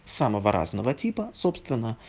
самого разного типа собственно